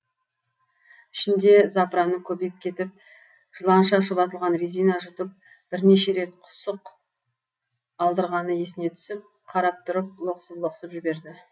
ішінде запыраны көбейіп кетіп жыланша шұбатылған резина жұтып бірнеше рет құсық алдырғаны есіне түсіп қарап тұрып лоқсып лоқсып жіберді